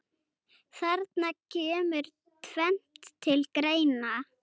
Þarna kemur tvennt til greina.